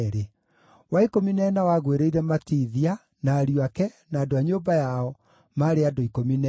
wa ikũmi na ĩna wagũĩrĩire Matithia, na ariũ ake, na andũ a nyũmba yao, maarĩ andũ 12;